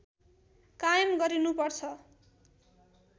कायम गरिनु पर्छ